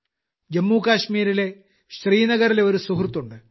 ജമ്മുകാശ്മീരിലെ ശ്രീനഗറിലെ ഒരു സുഹൃത്തുണ്ട്